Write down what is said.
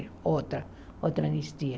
outra, outra anistia.